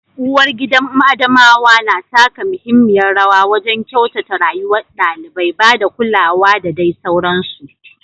Uwargida da ubangidan Adamawa na taka muhimmiyar rawa wajen kyautata rayuwar ɗalibai, ba da kulawa da dai sauransu.